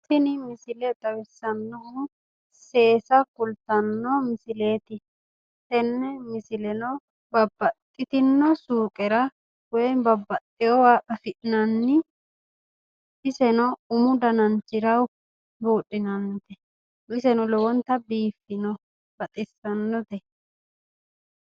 Tini misile xawissannohu seesa kultanno misileeti tenne misileno babbaxxitino suuqera woy babaxxeyoowa afi'nanni iseno umu dananchira buudhinanni iseno lowonta biiffino baxissannote.